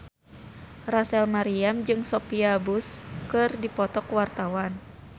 Rachel Maryam jeung Sophia Bush keur dipoto ku wartawan